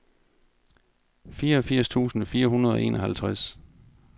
fireogfirs tusind fire hundrede og enoghalvtreds